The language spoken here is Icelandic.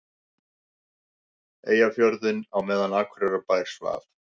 Eyjafjörðinn á meðan Akureyrarbær svaf.